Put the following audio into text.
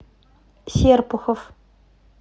серпухов